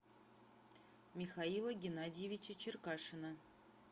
михаила геннадьевича черкашина